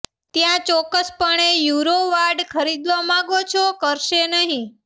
ત્યાં ચોક્કસપણે યુરો વાડ ખરીદવા માંગો છો કરશે નહિં